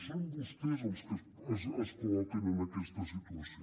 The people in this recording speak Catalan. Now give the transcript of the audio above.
són vostès els que es col·loquen en aquesta situació